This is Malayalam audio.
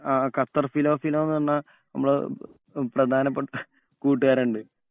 ആഹ് ഖത്തർ ഫിലോ ഫിലോ എന്ന് പറഞ്ഞ നമ്മളെ പ്രധാനപ്പെട്ട കൂട്ടുകാരൻ ഉണ്ട്.